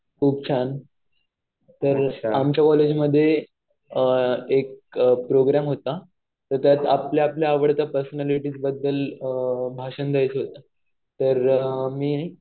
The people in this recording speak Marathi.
तर आमच्या कॉलेजमध्ये एक प्रोग्रॅम होता. तर त्यात आपल्या-आपल्या आवडत्या पर्सनॅलिटीज बद्दल भाषण द्यायचं होतं. तर मी